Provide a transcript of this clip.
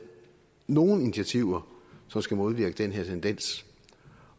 nogle initiativer som skal modvirke den her tendens